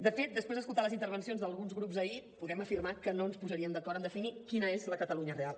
de fet després d’escoltar les intervencions d’alguns grups ahir podem afirmar que no ens posaríem d’acord en definir quina és la catalunya real